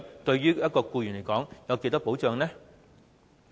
對一名僱員來說，有多少保障？